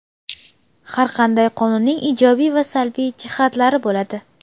Har qanday qonunning ijobiy va salbiy jihatlari bo‘ladi.